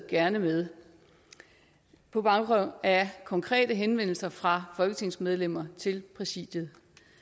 gerne med på baggrund af konkrete henvendelser fra folketingsmedlemmer til præsidiet